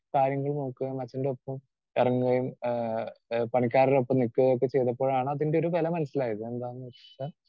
Speaker 2 കാര്യങ്ങൾ നോക്കുകയും അച്ഛന്റൊപ്പം ഇറങ്ങുകയും ആഹ് പണിക്കാരുടെ ഒപ്പം നിക്കുകയും ഒക്കെ ചെയ്തപ്പോഴാണ് അതിൻറെ ഒരു വെല മനസ്സിലായത്. എന്താന്ന് വെച്ചാ